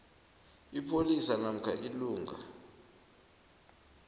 ipholisa namkha ilungu